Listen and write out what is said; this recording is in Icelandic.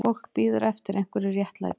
Fólk bíður eftir einhverju réttlæti